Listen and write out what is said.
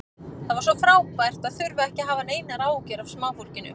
Það var svo frábært að þurfa ekki að hafa neinar áhyggjur af smáfólkinu.